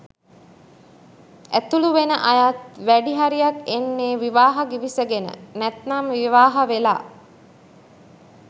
ඇතුළු වෙන අයත් වැඩි හරියක් එන්නේ විවාහ ගිවිසගෙන නැත්නම් විවාහ වෙලා